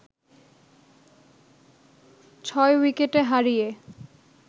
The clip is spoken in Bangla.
৬ উইকেটে হারিয়ে